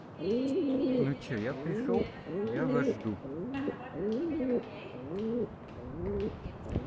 ну что я пришёл я вас жду